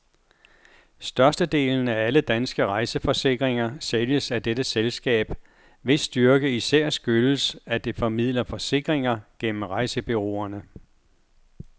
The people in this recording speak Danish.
Størstedelen af alle danske rejseforsikringer sælges af dette selskab, hvis styrke især skyldes, at det formidler forsikringer gennem rejsebureauerne.